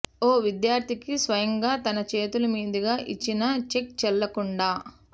ఓ విద్యార్థికి స్వయంగా తన చేతుల మీదుగా ఇచ్చిన చెక్ చెల్లకుండా